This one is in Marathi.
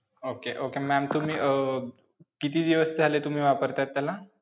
Okay okay ma'am तुम्ही अं किती दिवस झाले तुम्ही वापरतायत त्याला?